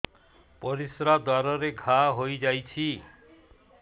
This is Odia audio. ପରିଶ୍ରା ଦ୍ୱାର ରେ ଘା ହେଇଯାଇଛି